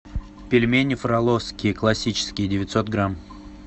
пельмени фроловские классические девятьсот грамм